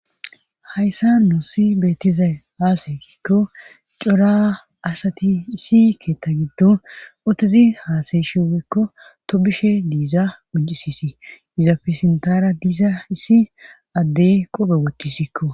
Hayssa noossi beettizay haasayeikko cora asati isi keetta giddo utizi haasayshi wekko to bishe diiza uncisisi izafe sintara diiza issi addey qope wochcisikko